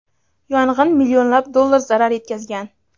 yong‘in millionlab dollar zarar yetkazgan.